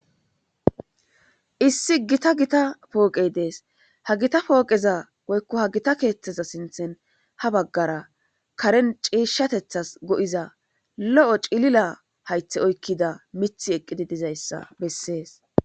issi gita gita pooqey dees ha gita pooqeza woykko ha gita keeththeza sinthen ha baggara karen ciishshatethas go7iza lo7o cilila haythe oykkida mithi eqqidi dizayssa bessees